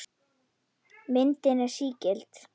Myndin er sígild.